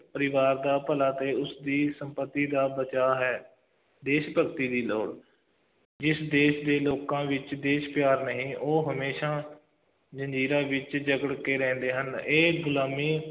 ਪਰਿਵਾਰ ਦਾ ਭਲਾ ਅਤੇ ਉਸਦੀ ਸੰਪਤੀ ਦਾ ਬਚਾਅ ਹੈ, ਦੇਸ਼ ਭਗਤੀ ਦੀ ਲੋੜ, ਜਿਸ ਦੇਸ਼ ਦੇ ਲੋਕਾਂ ਵਿੱਚ ਦੇਸ਼ ਪਿਆਰ ਨਹੀਂ, ਉਹ ਹਮੇਸ਼ਾ ਜ਼ੰਜ਼ੀਰਾਂ ਵਿੱਚ ਜਕੜ ਕੇ ਰਹਿੰਦੇ ਹਨ, ਇਹ ਗੁਲਾਮੀ